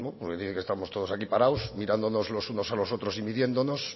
porque parece estamos todos aquí parados mirándonos los unos a los otros y midiéndonos